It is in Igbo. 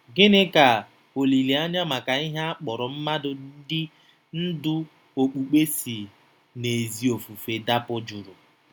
Gịnị ka olileanya maka ihe a kpọrọ mmadụ ndị ndú okpukpe si n'ezi ofufe dapụ jụrụ?